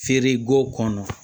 Feere g'o kɔnɔ